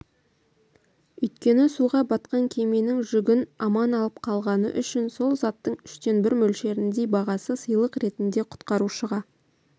өйткені суға батқан кеменің жүгін аман алып қалғаны үшін сол заттың үштен бір мөлшеріндей бағасы сыйлық ретінде құтқарушыға